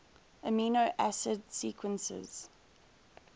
amino acid sequences